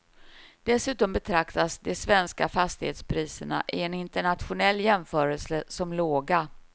Dessutom betraktas de svenska fastighetspriserna i en internationell jämförelse som låga.